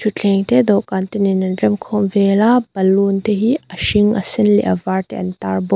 thuthleng te dawhkan te nen an rem khawm vel a balloon te hi a hring a sen leh a var te an tar bawk.